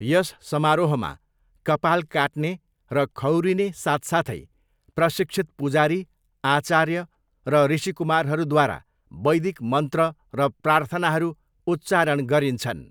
यस समारोहमा, कपाल काट्ने र खौरिने साथसाथै, प्रशिक्षित पुजारी, आचार्य र ऋषिकुमारहरूद्वारा वैदिक मन्त्र र प्रार्थनाहरू उच्चारण गरिन्छन्।